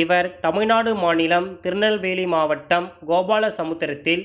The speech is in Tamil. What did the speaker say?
இவர் தமிழ்நாடு மாநிலம் திருநெல்வெலி மாவட்டம் கோபாலசமுத்திரத்தில்